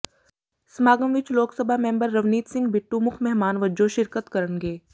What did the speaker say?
ਸਮਾਗਮ ਵਿਚ ਲੋਕ ਸਭਾ ਮੈਂਬਰ ਰਵਨੀਤ ਸਿੰਘ ਬਿੱਟੂ ਮੁੱਖ ਮਹਿਮਾਨ ਵਜੋਂ ਸ਼ਿਰਕਤ ਕਰਨਗੇ